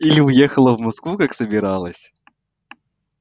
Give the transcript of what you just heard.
или уехала в москву как собиралась